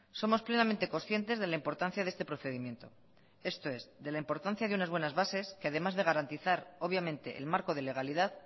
somos plenamente conscientes de la importancia de este procedimiento esto es de la importancia de unas buenas bases que además de garantizar obviamente el marco de legalidad